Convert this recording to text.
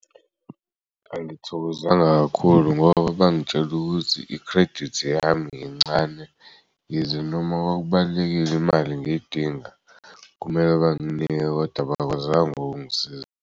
Angithokozanga kakhulu ngoba bangitshel'ukuthi i-credit yami yincane yize noma kwakubalulekile imali ngiyidinga kumele banginike koda bakwazang'kungisiza.